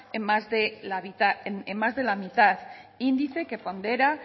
en más de la mitad índice que pondera